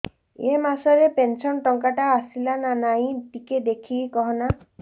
ଏ ମାସ ରେ ପେନସନ ଟଙ୍କା ଟା ଆସଲା ନା ନାଇଁ ଟିକେ ଦେଖିକି କହନା